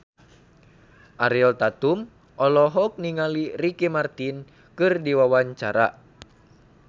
Ariel Tatum olohok ningali Ricky Martin keur diwawancara